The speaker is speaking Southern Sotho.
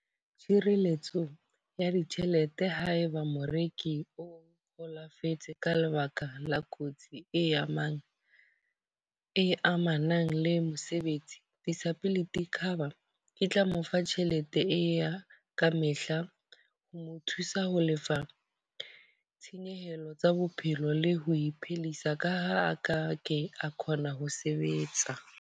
Tshireletso ya ditjhelete haeba moreki o holofetse ka lebaka la kotsi e amang e amanang le mosebetsi. Disability cover e tla mo fa tjhelete e e ya ka mehla. Ho mo thusa ho lefa tshenyehelo tsa bophelo le ho iphedisa ka ha a ka ke akgona ho sebetsa.